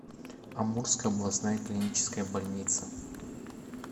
амурская областная клиническая больница